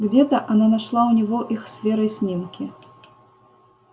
где-то она нашла у него их с верой снимки